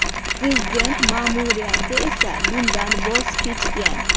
Prezident ma’muriyati esa bundan voz kechgan.